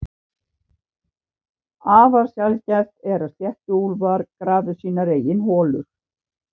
Afar sjaldgæft er að sléttuúlfar grafi sínar eigin holur.